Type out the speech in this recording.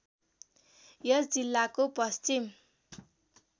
यस जिल्लाको पश्चिम